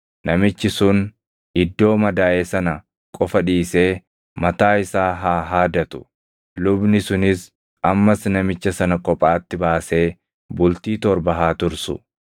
namichi sun iddoo madaaʼe sana qofa dhiisee mataa isaa haa haadatu; lubni sunis ammas namicha sana kophaatti baasee bultii torba haa tursu.